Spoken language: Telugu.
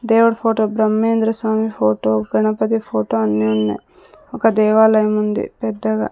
దేవుడు photo Brahmayendra Swami photo Ganapati photo అన్నీ ఉన్నాయ్ ఒక దేవాలయం ఉంది పెద్దగా.